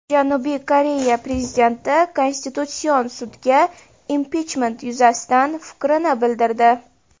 Janubiy Koreya prezidenti Konstitutsion sudga impichment yuzasidan fikrini bildirdi.